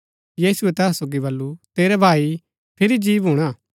यीशुऐ तैहा सोगी बल्लू तेरै भाई फिरी जी भूणा